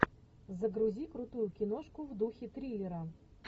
загрузи крутую киношку в духе триллера